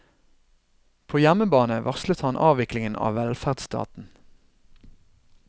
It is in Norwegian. På hjemmebane varslet han avviklingen av velferdsstaten.